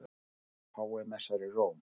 Páfi messar í Róm